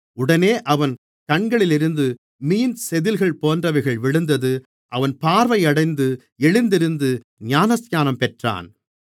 உடனே அவன் கண்களிலிருந்து மீன் செதில்கள் போன்றவைகள் விழுந்தது அவன் பார்வையடைந்து எழுந்திருந்து ஞானஸ்நானம் பெற்றான்